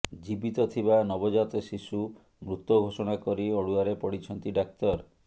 ଜୀବିତ ଥିବା ନବଜାତ ଶିଶୁ ମୃତ ଘୋଷଣା କରି ଅଡ଼ୁଆରେ ପଡ଼ିଛନ୍ତି ଡ଼ାକ୍ତର